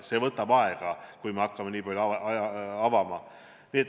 See võtab aega, kui me hakkame nii palju avama.